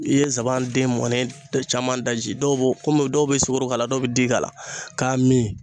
I ye zaban den mɔnnen caman da ji, dɔw bɛ komi dɔw bɛ sugaro k'a la dɔw bɛ di k'a la k'a min.